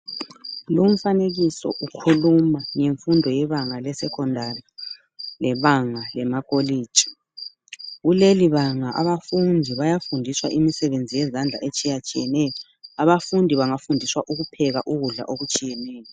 Lumfanekiso ukhuluma ngemfundo yebanga lesecondary lebanga lemakolitshi kulelibanga abafundi bayafundiswa imisebenzi yezandla etshiyatshiyeneyo, abafundi bengafundiswa ukupheka ukudla okutshiyeneyo.